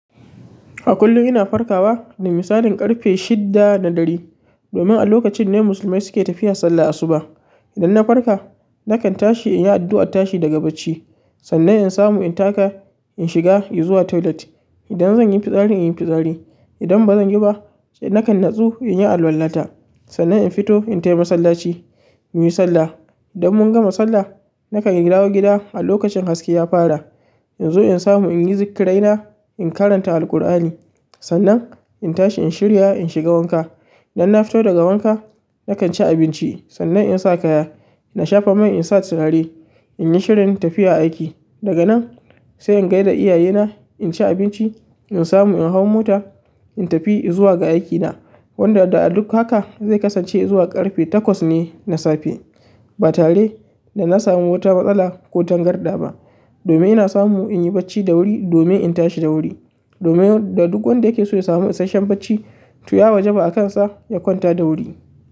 A kullum ina farkawa da misalin ƙarfe shidda na dare, domin a lokacin ne musulmai suke tafiya sallah asuba. Idan na farka nakan tashi in yi addu'ar tashi daga bacci, sannan in samu in taka in shiga in zuwa toilet. Idan zan yi fitsari in yi fitsari, idan ba zan yi ba nakan nutsu in yi alwala ta, sannan in fito in tai masallaci mu yi sallah. Idan mun gama sallah nakan dawo gida a lokacin haske ya fara. In zo in samu in yi zikraina, in karanta Alqur'ani, sannan in tashi in shirya in shiga wanka. Idan na fito daga wanka nakan ci abinci sannan in sa kaya. Na shafa mai insa in sa turare in yi shirin tafiya aiki. Daga nan sai in gai da iyayena, in ci abinci, in samu in hau mota in tafi in zuwa ga aikina. Wanda da a duk haka zai kasance izuwa ƙarfe takwas ne na safe ba tare da na samu wata matsala ko tangarɗa ba. Domin ina samu in yi bacci da wuri domin in tashi da wuri. Domin da duk wanda yake so ya samu isashen bacci, to ya wajaba a kansa ya kwanta da wuri.